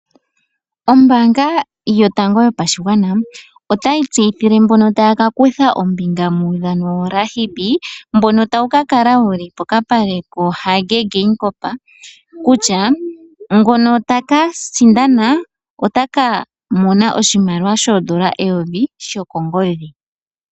Ombaanga yotango yopashigwana otayi tseyithile mbono taya ka kutha oombinga muudhano woRugby, mbono tawu ka kala wu li pokapale kaHage Geingob kutya ngono taka sindana otaka mona oshimaliwa shoondola eyovi shokongodhi.